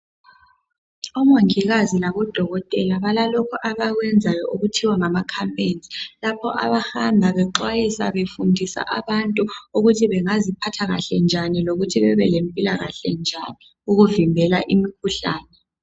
Omongikazi labodokotela balalokhu abakwenzayo okuthiwa ngama khampeyinzi. Lapho abahamba bexwayisa, befundisa abantu ukuthi bengaziphatha kahle njani lokuthi bebe lempilakahle njani, ukuvimbela imikhuhlane.